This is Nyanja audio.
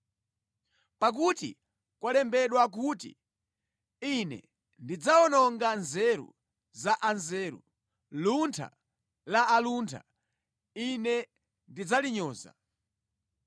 Pakuti kwalembedwa kuti, “Ine ndidzawononga nzeru za anthu anzeru; luntha la anthu aluntha Ine ndidzalinyoza.”